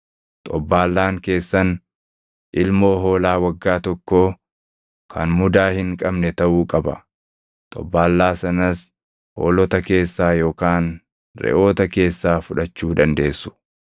Xobbaallaan keessan ilmoo hoolaa waggaa tokkoo kan mudaa hin qabne taʼuu qaba; xobbaallaa sanas hoolota keessaa yookaan reʼoota keessaa fudhachuu dandeessu.